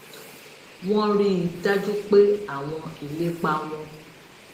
wọ́n rí i dájú pé àwọn ìlépa wọn